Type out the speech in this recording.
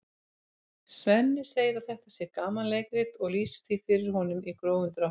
Svenni segir að þetta sé gamanleikrit og lýsir því fyrir honum í grófum dráttum.